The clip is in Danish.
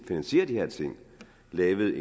finansiere de her ting lavet